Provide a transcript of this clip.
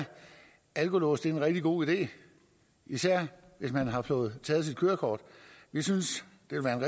alkolåse er en rigtig god idé især hvis man har fået taget sit kørekort vi synes